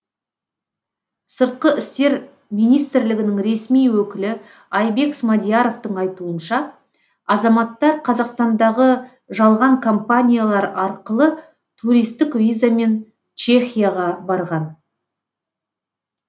сыртқы істер министрлігінің ресми өкілі айбек смадияровтың айтуынша азаматтар қазақстандағы жалған компаниялар арқылы туристік визамен чехияға барған